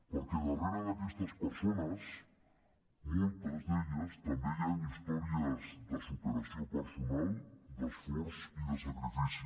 perquè darrere d’aquestes persones en moltes d’elles també hi han històries de superació personal d’esforç i de sacrifici